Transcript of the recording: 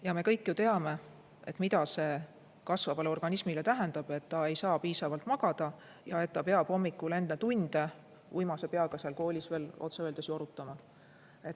Ja me kõik ju teame, mida see kasvavale organismile tähendab, kui laps ei saa piisavalt magada ja kui ta peab hommikul enne tunde uimase peaga seal koolis veel otse öeldes jorutama.